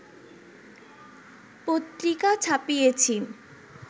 পত্রিকা ছাপিয়েছি